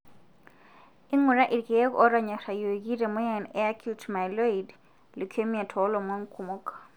ingura ilkeek otonyorayioki le moyian e acute Myeloid leukemia tolomon kumok.